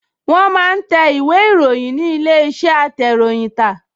Wọ́n máa ń tẹ ìwé-ìròyìn ní ilé-iṣẹ́ atẹ̀ròyìntà